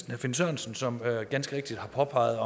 herre finn sørensen som ganske rigtigt har påpeget